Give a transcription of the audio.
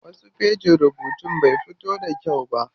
Wasu fejin rubutun bai fito da kyau ba.